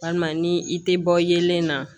Walima ni i tɛ bɔ yelen na